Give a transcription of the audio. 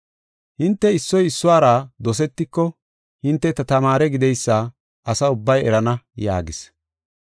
Hinte issoy issuwara dosetiko hinte ta tamaare gideysa asa ubbay erana” yaagis.